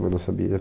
Mas não sabia.